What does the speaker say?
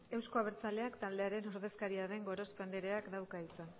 euzko abertzaleak taldearen ordezkaria den gorospe andreak dauka hitza